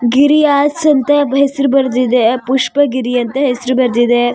ಗಿರಿ ಆಸೆ ಅಂತ ಹೆಸರು ಬರ್ದಿದೆ ಪುಷ್ಪ ಗಿರಿ ಅಂತ ಹೆಸರು ಬರ್ದಿದೆ.